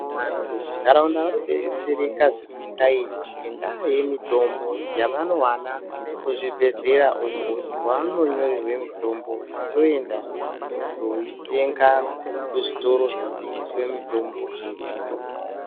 Vantu muntaraunda vari kudetsereka zvisingaiti ngenda yemitombo yavanowana kuzvibhedhlera uko kwavanonyorerwa mitombo vachizoenda kundoitenga kuzvitoro zvinotengesa mitombo zvega.